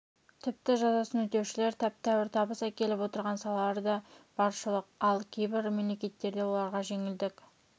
тіпті жазасын өтеушілер тәп-тәуір табыс әкеліп отырған салалар да баршылық ал кейбір мемлекеттерде оларға жеңілдік